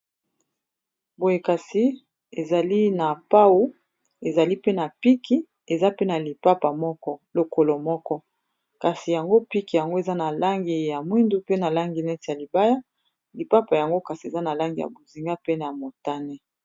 boyekasi ezali na pau ezali pe na piki eza pena lipapa lokolo moko kasi yango piki yango eza na langi ya mwindu pe na langi neti ya libaya lipapa yango kasi eza na langi ya bozinga pene ya montane